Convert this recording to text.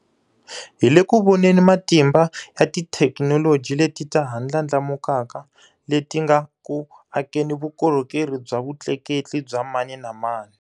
Hi le ku voneni matimba ya tithekinoloji leti ta ha ndlandlamukaka leti nga ku akeni vukorhokerhi bya vutleketli bya mani na mani.